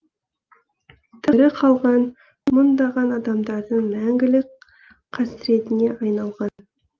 тірі қалған мыңдаған адамдардың мәңгілік қасіретіне айналған